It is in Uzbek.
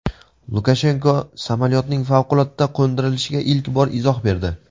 Lukashenko samolyotning favqulodda qo‘ndirilishiga ilk bor izoh berdi.